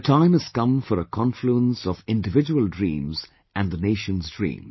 The time has come for a confluence of individual dreams and the Nation's dream